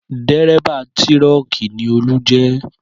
Dérébà tírọ́kì ni Olú jẹ́